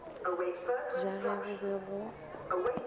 ja ge go be go